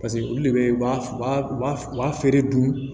Paseke olu de bɛ u b'a u b'a u b'a u b'a feere dun